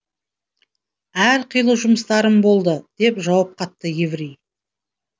әрқилы жұмыстарым болды деп жауап қатты еврей